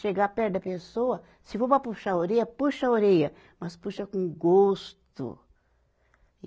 Chegar perto da pessoa, se for para puxar a orelha, puxa a orelha, mas puxa com gosto.